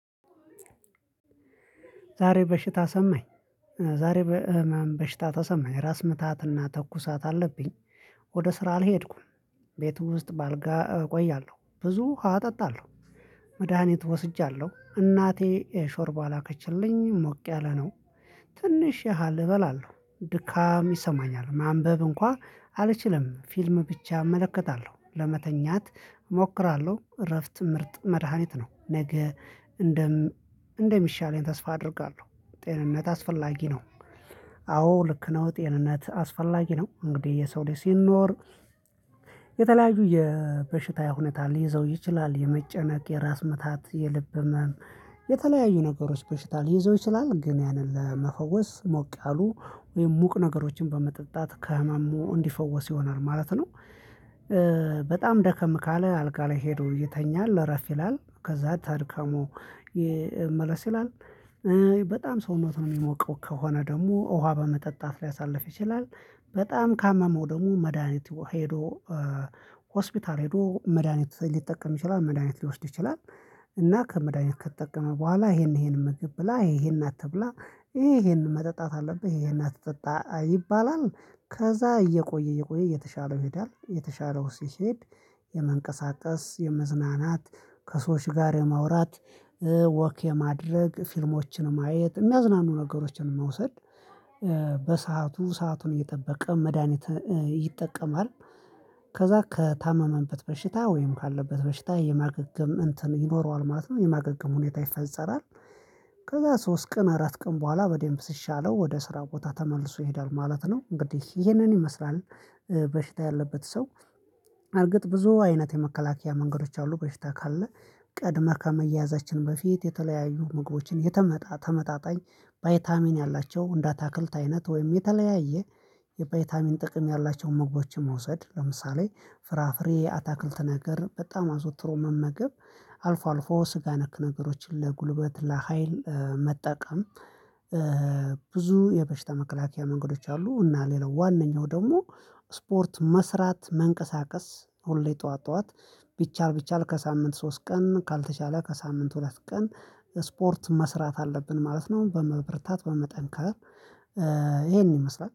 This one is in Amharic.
ዛሬ በሽታ ሰማኝ ዛሬ በህመም በሽታ ተሰማኝ ራስ ምታትና ተኩሳት አለብኝ። ወደ ስራ አልሄድኩም። ቤቱ ውስጥ በአልጋ እቆያለሁ ብዙ ውሃ እጠጣለሁ። መድሃኒት ወስጃለሁ እናቴ ሾርባ ላከችልኝ ሞቅ ያለ ነው። ትንሽ ያህል እበላለሁ ድካም ይሰማኛል ማንበብ እንኳን አልችልም ፊልም ብቻ እመለከታለሁ ለመተኛት እሞክራለሁ። እረፍት ምርጥ መድሃኒት ነው። ነገ እንደም እንደሚሻለኝ ተስፋ አደርጋለሁ። ጤንነት አስፈላጊ ነው። አዎ ልክ ነው ጤንነት አስፈላጊ ነው እንግዲህ የሰው ልጅ ስንኖር። የተለያዩ የበሽታ ሁኔነታ ሊይዘው ይችላል የመጨነቅ የራስ ምታት የልብ ህመም የተለያዩ ነገሮች በሽታ ሊይዘው ይችላል። ግን ያንን ለመፈወስ ሞቅ ያሉ ወይም ሙቅ ነገሮችን በመጠጣት ከህመሙ እንዲፈወስ ይሆናል ማለት ነው። በጣም ደከም ካለ አልጋ ላይ ሄዶ ይተኛል አረፍ ይላል ከዛ ተድካሙ መለስ ይላል። በጣም ሰውነቱን የሚሞቀው ከሆነ ደግሞ ውሃ በመጠጣት ሊያሳልፍ ይችላል። በጣም ካመመው ደግሞ መድሃኒት ሄዶ ሆስፒታል ሄዶ መድሃኒት ሊጠቀም ይችላል መድሃኒት ሊወስድ ይችላል። እና ከመድሃኒት ከተጠቀመ በኋላ ይሄን ይሄን ምግብ ብላ ይሄን አትብላ ይሄን መጠጣት አለብህ ይሄን አትጠጣ ይባላል። ከዛ እየቆየ እየቆየ እየተሻለው ይሄዳል እየተሻለው ሲሄድ። የመንቀሳቀስ የመዝናናት ከሰዎች ጋር የማውራት ወክ የማድረግ ፊልሞችን ማየት የሚያዝናኑ ነገሮችን መውሰድ። በሰአቱ ሰአቱን እየጠበቀ መድሃኒት ይጠቀማል። ከዛ ከታመመበት በሽታ ወይም ካለበት በሽታ የማገገም እንትን ይኖረዋል ማለት ነው የማገገም ሁኔታ ይፈጸራል። ከዛ ሶስት ቀን አራት ቀን በኋላ በደንብ ሲሻለው ወደ ስራ ቦታ ተመልሶ ይሄዳል ማለት ነው። እንግዲህ ይሄንን ይመስላል። በሽታ ያለበት ሰው እርግጥ ብዙ አይነት የመከላከያ መንገዶች አሉ። በፊት ካለ ቀድመህ ከመያዛችን በፊት የተለያዩ ምግቦችን የተመጣ ተመጣጣኝ። ባይታሚን ያላቸው እንዳታክልት አይነት ወይም የተለያየ የቫይታሚን ጥቅም ያላቸውን መግባቾች መውሰድ ለምሳሌ ፍራፍሬ አታክልት ነገር በጣም አዘወትሮ መመገብ። አልፎ አልፎ ስጋ ነክ ነገሮችን ለጉልበት ለሀይል መጠቀም። ብዙ የበሽታ መከላከያ መንገዶች አሉ። እና ሌላው ዋናው ደግሞ ስፖርት መስራት መንቀሳቀስ። ሁሌ ጠዋት ጠዋት ቢቻል ቢቻል ከሳምንት ሶስት ቀን ካልተቻለ ከሳምንት ሁለት ቀን። ስፖርት መስራት አለብን ማለት ነው። በመብርታት በመጠንከር ይሄን ይመስላል